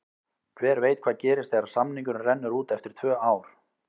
Hver veit hvað gerist þegar samningurinn rennur út eftir tvö ár?